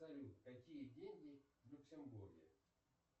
салют какие деньги в люксембурге